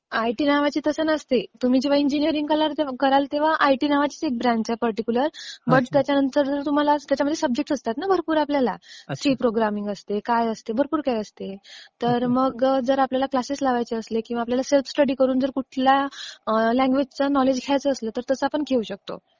IT नावाची तसं नसते. तुम्ही जेव्हा इंजिनीरिंग कराल तेव्हा आयटी नावाची एक ब्रँच आहे पर्टीक्युलर. पण त्याच्यामध्ये सब्जेक्ट्स असतात ना भरपूर आपल्याला. सी प्रोग्रॅमिंग असते, काय असते, भरपूर काय असते. तर मग आपल्याला क्लासेस लावायचे असले किंवा आपल्याला सेल्फ स्टडी करून जर कुठल्या लँग्वेजचं नॉलेज घ्यायचं असलं, तर तसं आपण घेऊ शकतो.